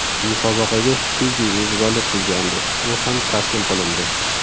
Musobaqaga Fiji mezbonlik qilgandi, u ham taslim qilindi.